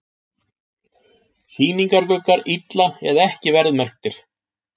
Sýningargluggar illa eða ekki verðmerktir